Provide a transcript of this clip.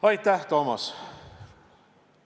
Aitäh, Toomas!